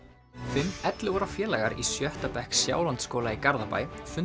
fimm ellefu ára félagar í sjötta bekk Sjálandsskóla í Garðabæ fundu